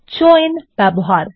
joins ব্যবহার